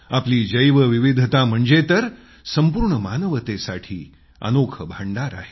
आपली जैवविविधता म्हणजे तर संपूर्ण मानवतेसाठी अनोखे भंडार आहे